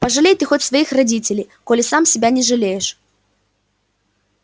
пожалей ты хоть своих родителей коли сам себя не жалеешь